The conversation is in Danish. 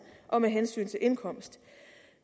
og med hensyn til indkomst